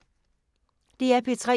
DR P3